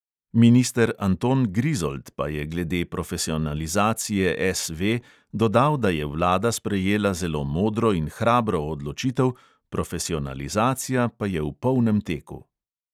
Minister anton grizold pa je glede profesionalizacije SV dodal, da je vlada sprejela zelo modro in hrabro odločitev, profesionalizacija pa je v polnem teku.